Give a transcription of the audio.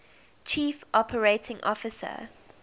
chief operating officer